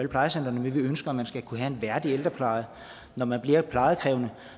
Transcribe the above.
plejecentre vi ønsker at man skal kunne have en værdig ældrepleje når man bliver plejekrævende